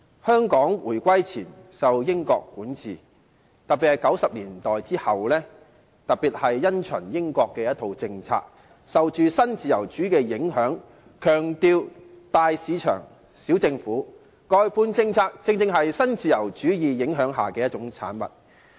香港在回歸前受英國管治，特別在1990年代後，因循英國的政策，受新自由主義的影響，強調"大市場，小政府"，外判政策正是受新自由主義影響下的一種產物。